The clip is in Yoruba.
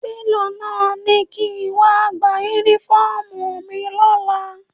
Télọ̀ náà ni kí n wá gba Únífọ́ọ̀mù mi lọ́la